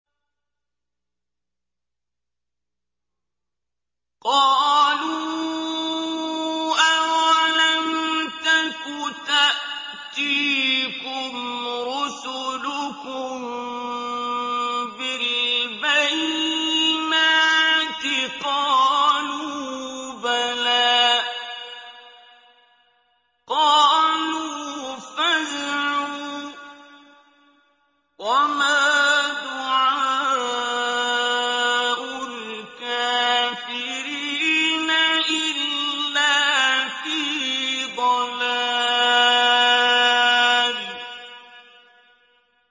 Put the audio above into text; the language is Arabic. قَالُوا أَوَلَمْ تَكُ تَأْتِيكُمْ رُسُلُكُم بِالْبَيِّنَاتِ ۖ قَالُوا بَلَىٰ ۚ قَالُوا فَادْعُوا ۗ وَمَا دُعَاءُ الْكَافِرِينَ إِلَّا فِي ضَلَالٍ